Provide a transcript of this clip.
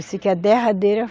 Eu sei que a derradeira